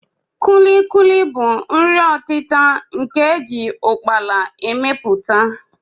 Kulikuli bụ nri ọtịta nke a ji ụkpaala emepụta